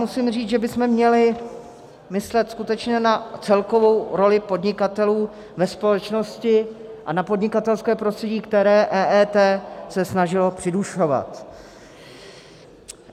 Musím říct, že bychom měli myslet skutečně na celkovou roli podnikatelů ve společnosti a na podnikatelské prostředí, které se EET snažilo přidušovat.